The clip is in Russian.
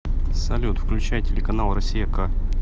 салют включай телеканал россия к